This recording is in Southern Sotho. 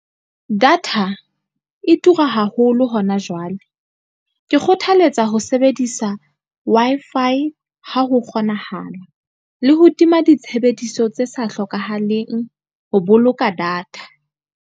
Data e tura haholo hona jwale. Ke kgothaletsa ho sebedisa Wi-Fi ha ho kgonahala, le ho tima ditshebediso tse sa hlokahaleng ho boloka data.